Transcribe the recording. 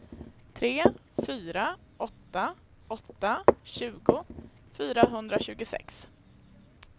tre fyra åtta åtta tjugo fyrahundratjugosex